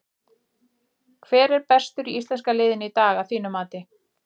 Hver var bestur í íslenska liðinu í dag að þínu mati?